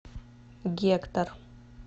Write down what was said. гектор